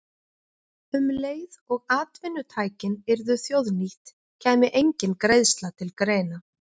Um leið og atvinnutækin yrðu þjóðnýtt kæmi engin greiðsla til greina.